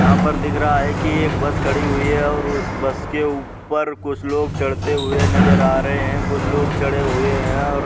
यहाँ पर दिख रहा है कि एक बस खड़ी हुई हैऔर उस बस के ऊपर कुछ लोग चढ़ते हुए नजर आ रहे हैं। कुछ लोग चढ़े हुए हैं और --